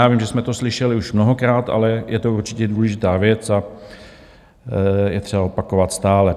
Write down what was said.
Já vím, že jsme to slyšeli už mnohokrát, ale je to určitě důležitá věc a je třeba opakovat stále.